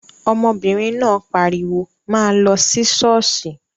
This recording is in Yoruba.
Ọmọbìnrin náà pariwo, 'máa lọ sí ṣọ́ọ̀ṣì'